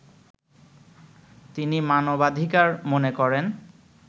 তিনি মানবাধিকার মনে করেন